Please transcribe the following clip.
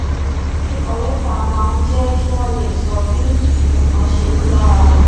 kíkọ létà máa ń jé kí wón lè sọ bí nǹkan ṣe rí lára wọn